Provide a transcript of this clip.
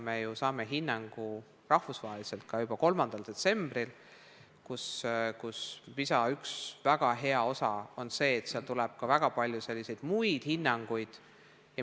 Me saime ju rahvusvahelise hinnangu juba 3. detsembril, kus PISA üks väga hea osa on see, et koos sellega tuleb ka väga palju muid hinnanguid.